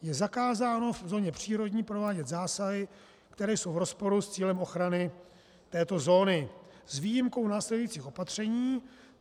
Je zakázáno v zóně přírodní provádět zásahy, které jsou v rozporu s cílem ochrany této zóny s výjimkou následujících opatření.